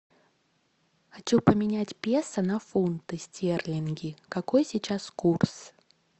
хочу поменять песо на фунты стерлинги какой сейчас курс